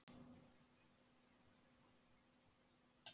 Lítil kvísl sindraði í sólinni.